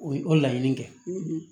O ye o laɲini kɛ